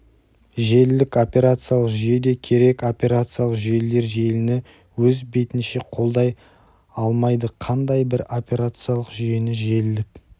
желілік операциялық жүйе де керекоперациялық жүйелер желіні өз бетінше қолдай алмайдықандай бір операциялық жүйені желілік